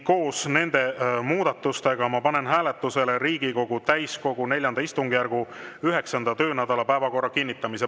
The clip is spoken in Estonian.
Koos nende muudatustega ma panen hääletusele Riigikogu täiskogu IV istungjärgu 9. töönädala päevakorra kinnitamise.